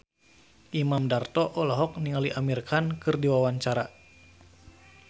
Imam Darto olohok ningali Amir Khan keur diwawancara